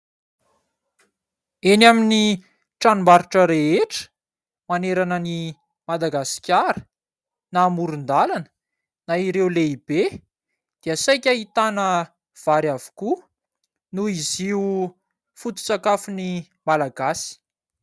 Eny amin'ny tranombarotra rehetra, manerana an'i Madagasikara, na amoron-dàlana, na ireo lehibe, dia saika ahitana vary avokoa; noho izy io foto-tsakafon'i Malagasy.